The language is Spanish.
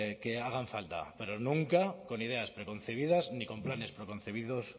que hagan falta pero nunca con ideas preconcebidas ni con planes preconcebidos